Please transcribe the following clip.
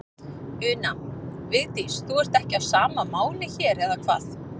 Una: Vigdís, þú ert ekki á sama máli hér, eða hvað?